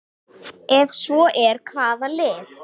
Ef svo er, hvaða lið?